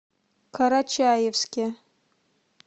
карачаевске